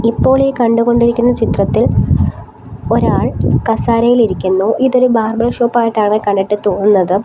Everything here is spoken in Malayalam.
ഇപ്പോൾ ഈ കണ്ടുകൊണ്ടിരിക്കുന്ന ചിത്രത്തിൽ ഒരാൾ കസേരയിലിരിക്കുന്നു ഇതൊരു ബാർബർ ഷോപ്പ് ആയിട്ടാണ് കണ്ടിട്ട് തോന്നുന്നത്.